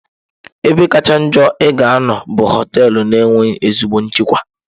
Ebe kacha njọ ị ga-anọ bụ họtelụ na-enweghị ezigbo nchekwa.